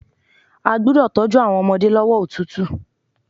A gbúdọ̀ tọ́jú àwọn ọmọdé lọ́wọ́ òtútù.